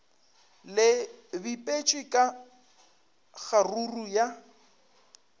le bipetšwe ka kgaruru ya